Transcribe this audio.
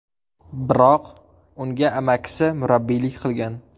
Biroq unga amakisi murabbiylik qilgan.